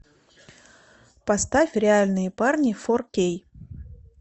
поставь реальные парни фор кей